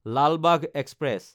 Lal Bagh express